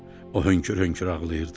O hönkür-hönkür ağlayırdı.